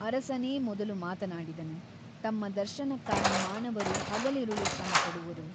ಅರಸನೇ ಮೊದಲು ಮಾತನಾಡಿದನು ತಮ್ಮ ದರ್ಶನಕ್ಕಾಗಿ ಮಾನವರು ಹಗಲಿರುಳು ಶ್ರಮಪಡುವರು.